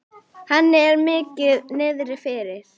Henni er mikið niðri fyrir.